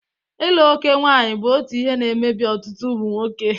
ira oké nwaanyị bụ otu ihe na-emebi ọtụtụ ụmụ nwoke.